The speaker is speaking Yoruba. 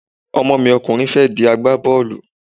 Ọmọ mi ọkùnrin fẹ́ di agbábọ́ọ̀lù